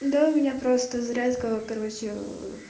да у меня просто зарядка короче